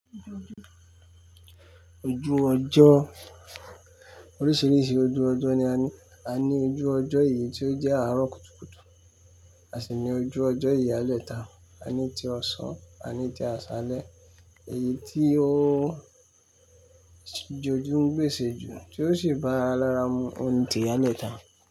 Ojú ọjọ́, oríṣiríṣi ojú ọjọ́ ni a ní. A ní ojú ọjọ́ èyí tí ó jẹ́ àárọ̀ kùtùkùtù, a sì ní ojú ọjọ́ ìyálẹ́ta, a ní ti ọ̀sán, a ní ti àsálẹ́. Èyí tí ó jọjú ń gbèsè ju tí ó sì bá ara mu òun ni ti ìyálẹ́ta.